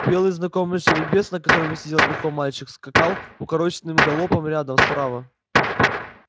белый знакомый жеребец на котором сидел верхом мальчик скакал укороченным галопом рядом справа